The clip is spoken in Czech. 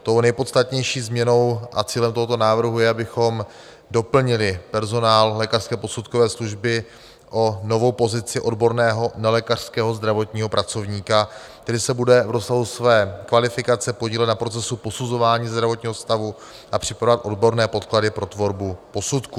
Tou nejpodstatnější změnou a cílem tohoto návrhu je, abychom doplnili personál lékařské posudkové služby o novou pozici odborného nelékařského zdravotního pracovníka, který se bude v rozsahu své kvalifikace podílet na procesu posuzování zdravotního stavu a připravovat odborné podklady pro tvorbu posudku.